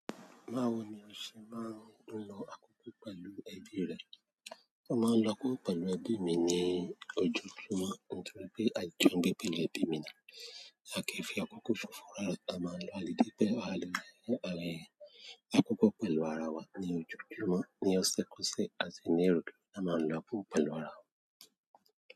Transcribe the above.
Báwo ni o ṣe máa ń lo àkókò pẹ̀lú ẹbí rẹ? Mo máa ń lo akoko pẹ̀lú ẹbí mi ní ojoojúmọ́ nítorí pé a jọ n gbe pẹ̀lú ẹbí mi ni. À kin fi àkókò ṣofo rara, a máa ń lo alèdè pẹ́, wa lẹ́nu, a rẹ́rìn-ín. Àkókò pẹ̀lú ara wa ní ojoojúmọ́ ni ọsẹ-k'ọsẹ, àti ní ìrọ́lẹ́ a máa ń lọ pool pẹ̀lú ara wa.